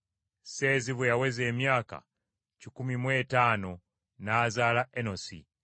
Seezi bwe yaweza emyaka kikumi mu etaano n’azaala Enosi.